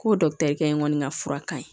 Ko kɔni ka fura ka ɲi